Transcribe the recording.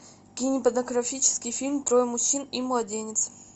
кинематографический фильм трое мужчин и младенец